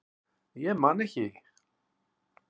Ég man ekki